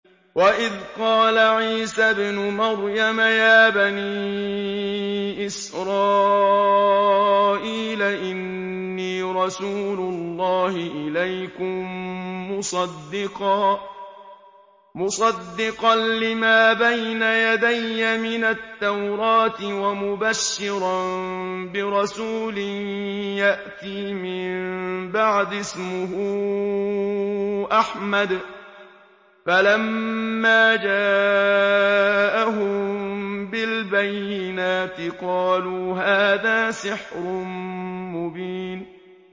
وَإِذْ قَالَ عِيسَى ابْنُ مَرْيَمَ يَا بَنِي إِسْرَائِيلَ إِنِّي رَسُولُ اللَّهِ إِلَيْكُم مُّصَدِّقًا لِّمَا بَيْنَ يَدَيَّ مِنَ التَّوْرَاةِ وَمُبَشِّرًا بِرَسُولٍ يَأْتِي مِن بَعْدِي اسْمُهُ أَحْمَدُ ۖ فَلَمَّا جَاءَهُم بِالْبَيِّنَاتِ قَالُوا هَٰذَا سِحْرٌ مُّبِينٌ